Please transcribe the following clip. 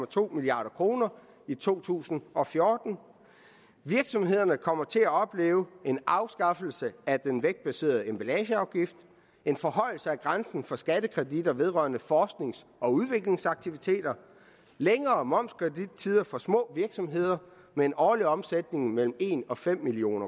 to milliard kroner i to tusind og fjorten virksomhederne kommer til at opleve en afskaffelse af den vægtbaserede emballageafgift en forhøjelse af grænsen for skattekreditter vedrørende forsknings og udviklingsaktiviteter længere momskredittider for små virksomheder med en årlig omsætning mellem en og fem million